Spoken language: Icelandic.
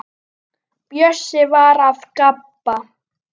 Bjössi var að gabba.